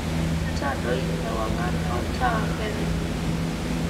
ntadoi ewangan olntaa peno